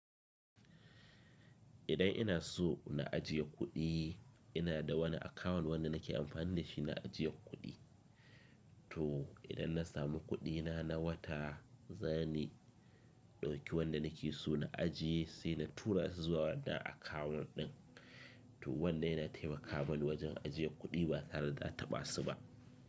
Idan ina so na ajiye kuɗi, ina da wani akawun wanda nake amfani da shi na ajiye kuɗi. To idan na samu kuɗina na wata, zani ɗauki wanda nake so na ajiye sai na tura su zuwa wannan akawun ɗin. To wanda yana taimaka mani wajen ajiye kuɗi ba tare da taɓa su ba.